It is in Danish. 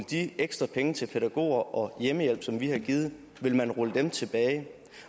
de ekstra penge til pædagoger og hjemmehjælp som vi har givet tilbage